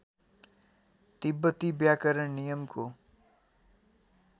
तिब्बती व्याकरण नियमको